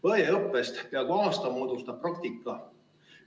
Õeõppest peaaegu aasta moodustab praktika.